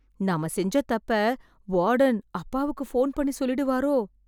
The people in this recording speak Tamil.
நாம செஞ்ச தப்ப, வார்டன் அப்பாவுக்கு ஃபோன் பண்ணி சொல்லிடுவாரோ...